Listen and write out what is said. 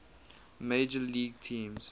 major league teams